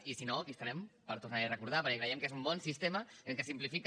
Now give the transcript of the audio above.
i si no aquí estarem per tornar li ho a recordar perquè creiem que és un bon sistema en què es simplifica